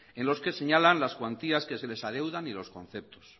en los que señalan las cuantías que se les adeudan y los conceptos